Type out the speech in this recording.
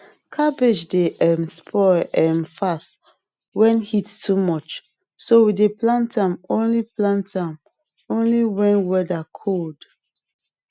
cabbage dey um spoil um fast when heat too much so we dey plant am only plant am only when whether cold